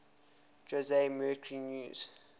jose mercury news